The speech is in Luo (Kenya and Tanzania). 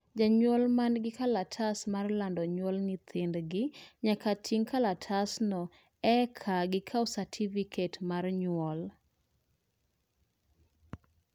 jonyuol mangi kalatas mar lando nyuol nyithindgi nyaka ting kalatasno i eka gikao satifiket mar nyuol